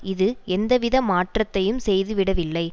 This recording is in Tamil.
இது எந்தவித மாற்றத்தையும் செய்துவிடவில்லை